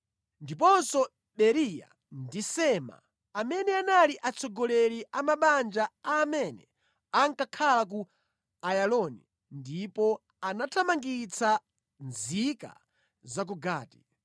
ndiponso Beriya ndi Sema, amene anali atsogoleri a mabanja a amene ankakhala ku Ayaloni ndipo anathamangitsa nzika za ku Gati.